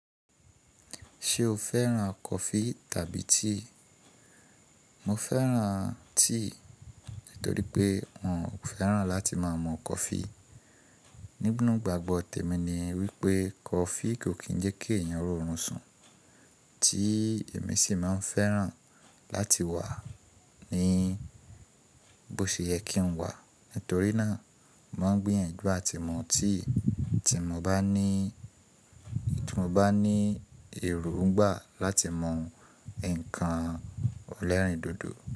Ṣé o fẹ́ràn kọfí tàbí tea? Mo fẹ́ràn tíì nítorí pé n ò fẹ́ràn láti má mọ kọfí. Nígbàgbọ́ tèmi ni wípé kọfí kò kín jẹ́ kí èèyàn rọrùn sun. Tíì èmi sì máa fẹ́ràn láti wà ní bó ṣe yẹ kí n wà nítorí náà, mo ń gbìyànjú àti mọ tíì tí mo bá ní, tí mo bá ní èròǹgbà láti mọ ǹkan olérìndòdò.